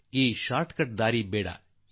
ನಾವು ಈ ಅಡ್ಡರಸ್ತೆ ಮಾರ್ಗದಲ್ಲಿ ಹೋಗೋದು ಬೇಡ